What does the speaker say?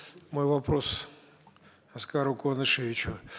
мой вопрос аскару куанышевичу